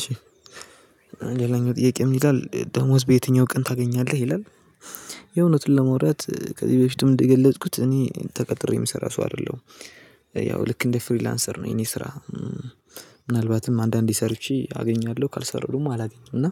እሺ ሌላኛው ጥያቄ ምን ይላል ደሞዝ በየትኛው ቀን ታገኛለህ ይላል የእውነትን ለማውራት ለመውራት ከዚህ በፊትም እንደገለጽኩት እኔ ተቀጥሬ የምሰራ ሰው አይደለሁም። ያው ልክ እንደ ፍሪላንሰር ነው የኔ ስራ ምናልባትም አንዳንዴ ሰርቼ አገኛለሁ ካልሰራሁም አላገኘሁም እና